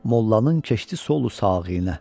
Mollanın keçdi solu sağına.